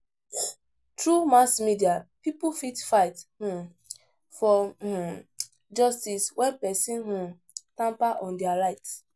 Through mass media pipo fit fight um for um justice when persin um tamper on their rights